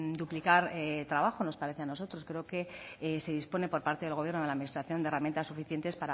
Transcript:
duplicar trabajo nos parece a nosotros creo que se dispone por parte del gobierno de la administración de herramientas suficientes